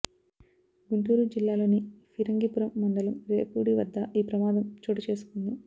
గుంటూరు జిల్లాలోని ఫిరంగిపురం మండలం రేపూడి వద్ద ఈ ప్రమాదం చోటుచేసుకుంది